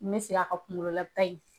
N mɛ segin a kan kunkololata in.